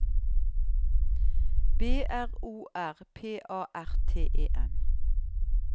B R O R P A R T E N